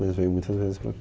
Mas veio muitas vezes para cá.